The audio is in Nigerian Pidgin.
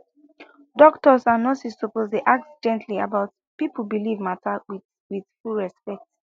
doctors and nurses suppose dey ask gently about people belief matter with with full respect